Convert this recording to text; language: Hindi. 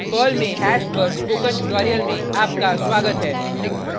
पर्ल में हैश पर स्पोकन ट्यूटोरियल में आपका स्वागत है